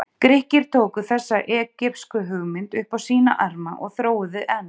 Grikkir tóku þessa egypsku hugmynd upp á sína arma og þróuðu enn.